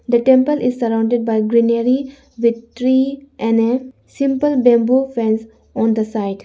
the temple is surrounded by greenery with tree and a simple bamboo fence on the side.